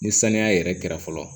Ni saniya yɛrɛ kɛra fɔlɔ